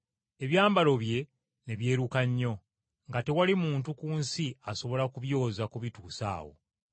ebyambalo bye ne byeruka nnyo, nga tewali muntu ku nsi asobola kubyoza kubituusa awo!